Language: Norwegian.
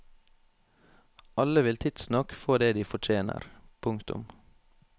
Alle vil tidsnok få det de fortjener. punktum